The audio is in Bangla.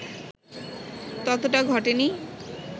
ততটা ঘটেনি